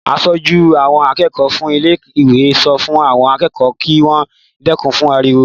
Aṣojú àwọn akẹ́kọ̀ọ́ fún ilé-ìwé sọ fún àwọn akẹ́kọ̀ọ́ kí wọ́n dẹ́kun ariwo.